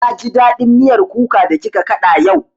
Na ji daɗin miyar kuka da kika kaɗa yau